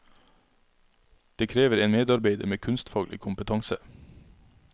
Det krever en medarbeider med kunstfaglig kompetanse.